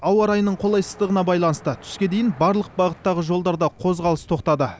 ауа райының қолайсыздығына байланысты түске дейін барлық бағыттағы жолдарда қозғалыс тоқтады